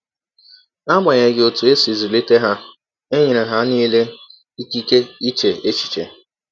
N’agbanyeghị ọtụ e si zụlite ha, e nyere ha nile ịkịke iche echiche.